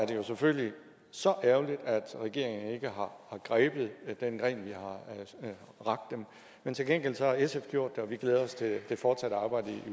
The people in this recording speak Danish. det jo selvfølgelig så ærgerligt at regeringen ikke har grebet den gren vi har rakt dem men til gengæld har sf gjort det og vi glæder os til det fortsatte arbejde i